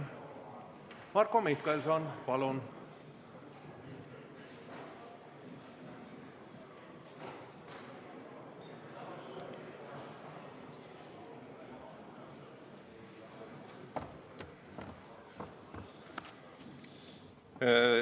Marko Mihkelson, palun!